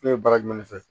Ne ye bara jumɛn fɛ